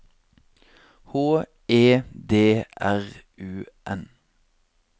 H E D R U N